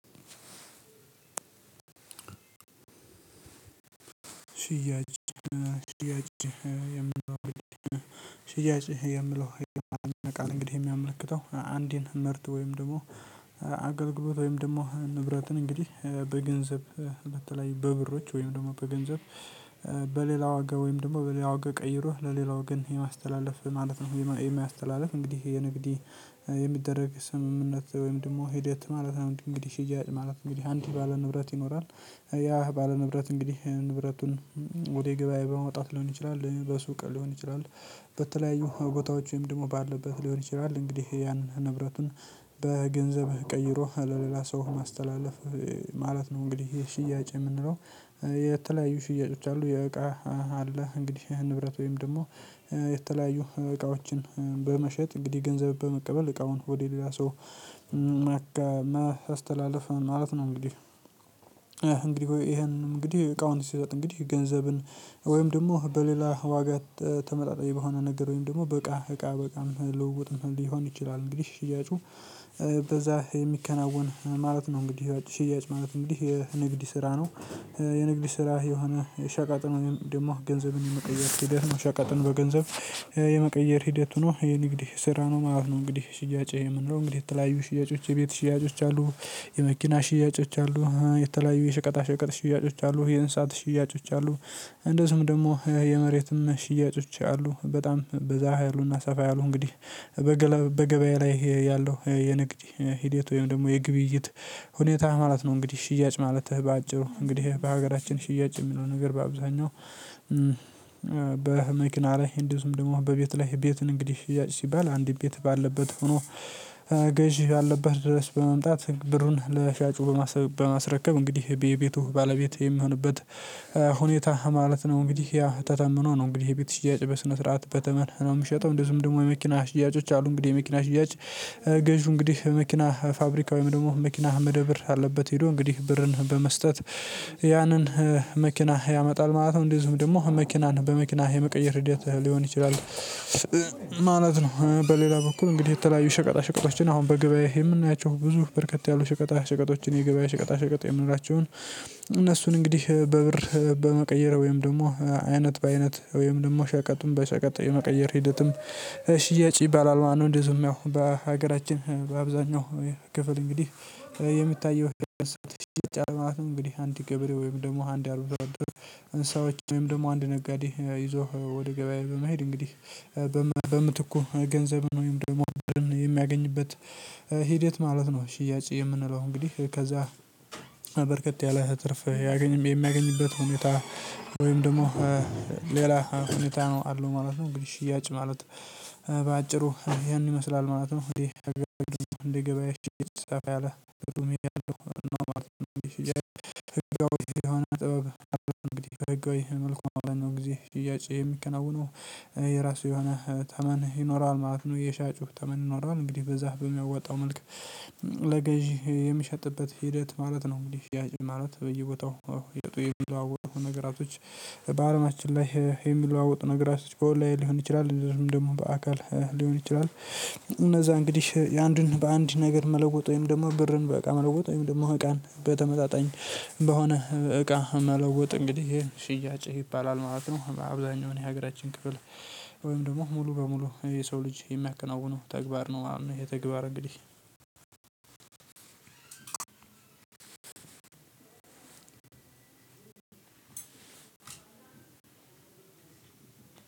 ሽያጭ ሽያጭ የምለው ሽያጭ የምለው ቃል እንግዲህ የሚያመለክተው አንድን ምርት ወይም ደግሞ አገልግሎት ወይም ደግሞ ንብረትን እንግዲህ በገንዘብ በተለይ በብሮች ወይም ደግሞ በገንዘብ በሌላ ዋጋ ወይም ደግሞ በሌላ ወጋ ቀይሮ ለሌላ ወገን የማስተላለፍ ማለት ነው። የማያስተላልፍ እንግዲህ የንግዴ የሚደረግ ስምምነት ወይም ደግሞ ሂደት ማለት ነው። እንግዲህ ሽያጭ ማለት እንግዲህ አንድ ባለ ንብረት ይኖራል። ያ ባለ ንብረት እንግዲህ ንብረቱን ወደ ገበያ በማውጣት ሊሆን ይችላል በሱቅ ሊሆን ይችላል። በተለያዩ ቦታዎች ወይም ደግሞ ባለበት ሊሆን ይችላል እንግዲህ ያን ንብረቱን በገንዘብ ቀይሮ ለሌላ ሰው ማስተላለፍ ማለት ነው። እንግዲህ ይሄ ሽያጭ የምንለው የተለያዩ ሽያጮች አሉ። የእቃ አለ እንግዲህ ይሄን ንብረት ወይም ደግሞ የተለያዩ እቃዎችን በመሸጥ እንግዲህ ገንዘብ በመቀበል እቃውን ወደ ሌላ ሰው ያስተላልፋል ማለት ነው። እንግዲህ እንግዲህ ይሄን እንግዲህ እቃውን ሲሰጥ እንግዲህ ገንዘብን ወይም ደግሞ በሌላ ዋጋ ተመጣጣኝ በሆነ ነገሮኝ ደግሞ በቃ እቃ በቃ ልውውጥ ምናምን ሊሆን ይችላል። እንግዲህ ሽያጩ በዛ የሚከናወን ማለት ነው እንግዲህ ሽያጭ ማለት እንግዲህ የንግድ ስራ ነው። የንግዲ ስራ የሆነ የሸቃጥን ደግሞ ገንዘብን የመቀየር ሂደት መሸቀጥን በገንዘብ የመቀየር ሂደት ሆኖ የንግድ ስራ ነው ማለት ነው። እንግዲህ ሽያጭ ይሄ ምን ነው እንግዲህ የተለያዩ ሽያጮች የቤት ሽያጮች አሉ የመኪና ሽያጮች አሉ የተለያዩ የሽቀጣ ሽቀጥ ሽያጮች አሉ የእንሳት ሽያጮች አሉ እንደዚሁም ደግሞ የመሬትም ሽያጮች አሉ። በጣም በዛ ያሉና ሰፋ ያሉ እንግዲህ በገበያ ላይ ያለው የንግድ ሂደት ወይም ደግሞ የግብይት ሁኔታ ማለት ነው። እንግዲህ ሽያጭ ማለት በአጭሩ እንግዲህ በሀገራችን ሽያጭ የሚለው ነገር በአብዛኛው በመኪና ላይ እንደዚሁም ደግሞ በቤት ላይ ቤትን እንግዲህ ሽያጭ ሲባል አንድ ቤት ባለበት ሆኖ ያለበት ድረስ በመምጣት ብሩን ለሻጩ በማስረከብ እንግዲህ ቤቱ ባለቤት የምሆንበት ሁኔታ ማለት ነው። እንግዲህ ያ ተተምኖ ነው እንግዲህ የቤት ሽያጭ በስነ ስርዓት በተመር ነው። የምሸጠው እንደ ዝም ደግሞ የመኪና ሽያጮች አሉ እንግዲህ የመኪና ሽያጭ ገዢ እንግዲህ መኪና ፋብሪካ ወይም ደግሞ መኪና መደብር አለበት ሄዶ እንግዲህ ብርን በመስጠት ያንን መኪና ያመጣል ማለት ነው። እንደዚሁም ደግሞ መኪናን በመኪና የመቀየር ልደት ሊሆን ይችላል ማለት ነው። በሌላ በኩል እንግዲህ የተለያዩ ሽቀጣ ሽቀጦችን አሁን በግብያዬ የምናያቸው ብዙ በርከት ያሉ ሽቀጣ ሽቀጦችን የገበያ ሽቀጣ ሽቀጥ የምንላቸውን እነሱን እንግዲህ በብር በመቀየር ወይም ደግሞ አይነት በአይነት ወይም ደግሞ ሸቀጡን በሸቀጥ የመቀየር ሂደትም ሽያጭ ይባላል ማለት ነው። እንደዚሁም ያው በሀገራችን በአብዛኛው ክፍል እንግዲህ የሚታየው ሸጫ ማለት ነው እንግዲህ አንድ ገበሬ ወይም ደግሞ አንድ አርብሮሮ ሰዎች ወይም ደግሞ አንድ ነጋዴ ይዞ ወደ ገበያዬ በመሄድ እንግዲህ በምትኩ ገንዘብን ወይም ደግሞ የሚያገኝበት ሂደት ማለት ነው። ሽያጭ የምንለው እንግዲህ ከዛ ያለ ትርፍ ያገኘም የሚያገኝበት ሁኔታ ወይም ደግሞ ሌላ ሁኔታ ነው አሉ ማለት ነው። እንግዲህ ሽያጭ ማለት በአጭሩ ያን ይመስላል ማለት ነው። እንዴ እንደ ገበያችን ሰፋ ያለ ትምህርቱም ይላሉ እና ማለት ነው። ይሄ ህግ መልኩ አለን ነው ጊዜ ሽያጭ የሚከናወነው የራሱ የሆነ ተመን ይኖረዋል ማለት ነው። የሻጩህ ተመንኖራል እንግዲህ በዛ በሚያወጣው መልኩ ለገዢ የሚሸጥበት ሂደት ማለት ነው። እንግዲህ ያጭ ማለት በየቦታው እየጠዋወረው የሚለዋወጡ ነገራቶች በአረናችን ላይ የሚለዋወጡ ነገራቶች ጮህ ላይ ሊሆን ይችላል። ደግሞ ደግሞ በአካል ሊሆን ይችላል። እነዛ እንግዲህ የአንዱን በአንድ ነገር መለወጥ ወይም ደግሞ በርን በቃ መለወጥ ወይም ደግሞ እቃን በተመጣጣኝ በሆነ እቃ መለወጥ እንግዲህ ሽያጭ ይባላል ማለት ነው። አብዛኛው የሀገራችን ክፍል ወይም ሙሉ በሙሉ የሰው ልጅ የሚያከናውነው ተግባር ነው። የተግባር እንግዲህ አንድ